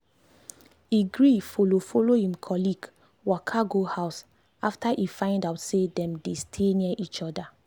e gree follow follow him colleague waka go house after e find out say dem dey stay near each other.